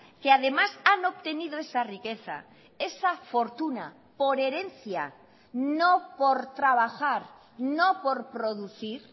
que además han obtenido esa riqueza esa fortuna por herencia no por trabajar no por producir